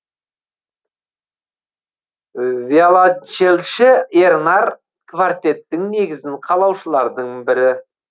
виолончельші ернар квартеттің негізін қалаушылардың бірі